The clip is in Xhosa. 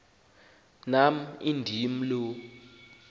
nam indim lo